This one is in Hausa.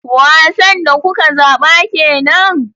Wasan da kuka zaba kenan?